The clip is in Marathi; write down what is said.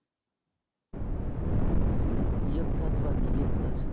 एक तास बाकी आहे. एक तास.